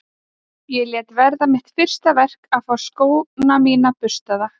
Ég lét verða mitt fyrsta verk að fá skóna mína burstaða.